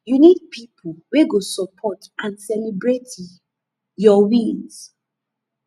you need people wey go support and celebrate your wins